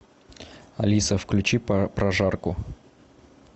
алиса включи прожарку